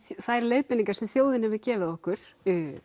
þær leiðbeiningar sem þjóðin hefur gefið okkur